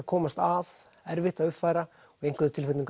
komast að erfitt að uppfæra og í einhverjum tilfellum